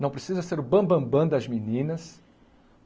Não precisa ser o bam-bam-bam das meninas.